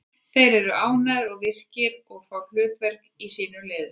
Þeir eru ánægðari og eru virkir og fá hlutverk í sínum liðum.